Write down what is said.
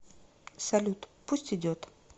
салют пусть идет